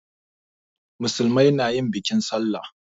Musulmai na yin bikin sallah.